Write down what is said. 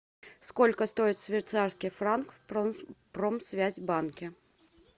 сколько стоит швейцарский франк в промсвязьбанке